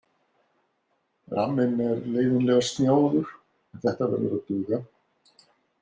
Ramminn er leiðinlega snjáður en þetta verður að duga.